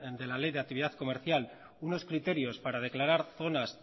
de la ley de actividad comercial unos criterios para declarar zonas